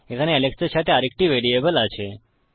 এখানে আলেক্স এর সাথে আরেকটি ভ্যারিয়েবল আছে